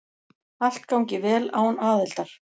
Allt gangi vel án aðildar.